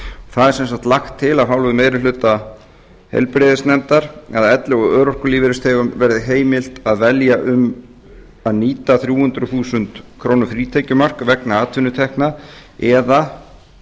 það er sem sagt lagt til af hálfu meiri hluta heilbrigðis og trygginganefndar að elli og örorkulífeyrisþegum verði heimilt að velja um að nýta þrjú hundruð þúsund króna frítekjumark vegna atvinnutekna eða